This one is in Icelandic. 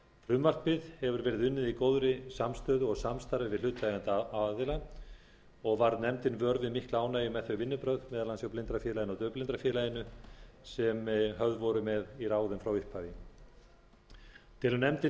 frumvarpið hefur verið unnið í góðri samstöðu og samstarfi við hlutaðeigandi aðila og varð nefndin vör við mikla ánægju með þau vinnubrögð meðal annars hjá blindrafélaginu og daufblindrafélaginu sem höfð voru með í ráðum frá upphafi telur nefndin